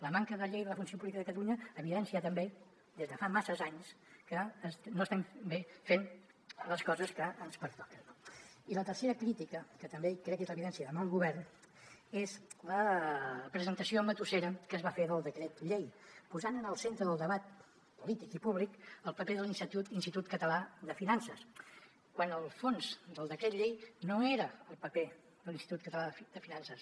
la manca de llei de la funció pública de catalunya evidencia també des de fa masses anys que no estem fent bé les coses que ens pertoquen no i la tercera crítica que també crec que és l’evidència de mal govern és la presentació matussera que es va fer del decret llei posant en el centre del debat polític i públic el paper de l’institut català de finances quan el fons del decret llei no era el paper de l’institut català de finances